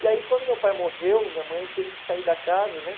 E aí quando meu pai morreu, minha mãe teve que sair da casa, né?